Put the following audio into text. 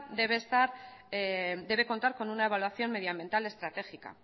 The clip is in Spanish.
debe estar debe contar con una evaluación medioambiental estratégica